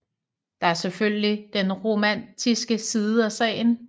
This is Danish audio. Der er selvfølgelig den romantiske side af sagen